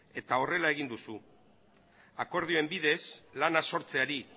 eta horrela egin duzu akordioen bidez lana sortzeari